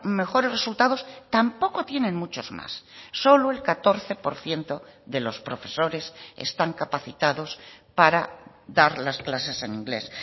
mejores resultados tampoco tienen muchos más solo el catorce por ciento de los profesores están capacitados para dar las clases en inglés